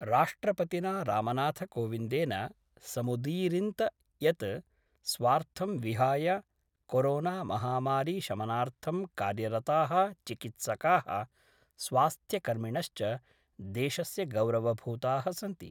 राष्ट्रपतिना रामनाथ कोविंदेन समुदीरिंत यत् स्वार्थं विहाय कोरोनामहामारीशमनार्थं कार्यरता: चिकित्सका: स्वास्थ्यकर्मिणश्च: देशस्य गौरवभूताः सन्ति।